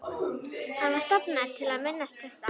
Hann var stofnaður til að minnast þess að